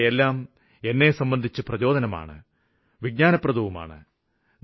ഇവയെല്ലാം എന്നെ സംബന്ധിച്ച് പ്രചോദനമാണ് വിജ്ഞാനപ്രദവുമാണ്